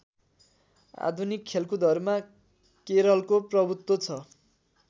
आधुनिक खेलकुदहरूमा केरलको प्रभु्त्व छ